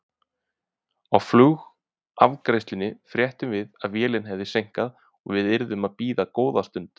Á flugafgreiðslunni fréttum við að vélinni hefði seinkað og við yrðum að bíða góða stund.